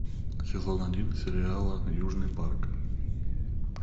сезон один сериала южный парк